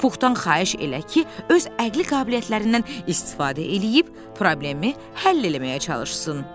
Puxdan xahiş elə ki, öz əqli qabiliyyətlərindən istifadə eləyib problemi həll eləməyə çalışsın.